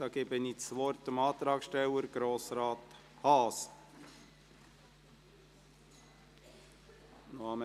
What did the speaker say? Dazu gebe ich dem Antragsteller, Grossrat Haas, das Wort.